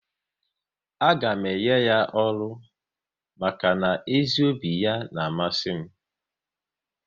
A ga m enye ya ọrụ maka na ezi obi ya n'amasi m